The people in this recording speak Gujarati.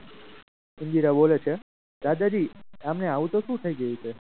હીરા બોલે છે દાદાજી આમને આવું તો શું થઈ ગયું છે.